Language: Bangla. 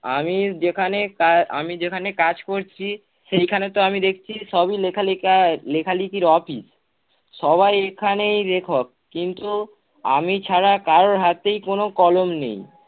আমি যেখানে কা~ আমি যেখানে কাজ করছি সেইখানে তো আমি দেখছি সবই লিখা-লিখা, লিখা-লেখির office সবাই এখানেই লেখক কিন্তু আমি ছাড়া কারোর হাতেই কোন কলম নেই।